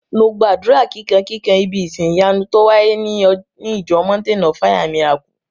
Mo gbàdúrà kíkan kikan ibí ìsin ìyanu tó wáyé ní ìjọ mountain of fire and miracle